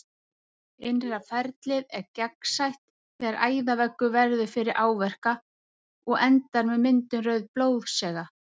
Innra ferlið er gangsett þegar æðaveggur verður fyrir áverka og endar með myndun rauðs blóðsega.